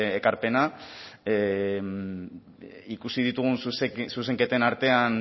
ekarpena ikusi ditugun zuzenketen artean